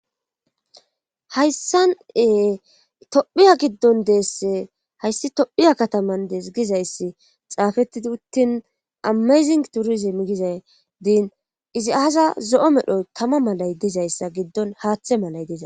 Hayssan7ee tophiya giddon deesse hayssi tophiya kataman dees gizayssi xaafettidi uttin amezing turizim gizay diin izi aasa zo7o medhoy tama malay dizayssa giddon haaththe malay diiza